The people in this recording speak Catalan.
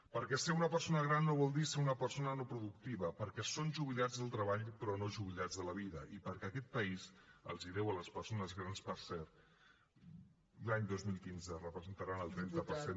perquè ser una persona gran no vol dir ser una persona no productiva perquè són jubilats del treball però no jubilats de la vida i perquè aquest país els ho deu a les persones grans per cert l’any dos mil quinze representaran el trenta per cent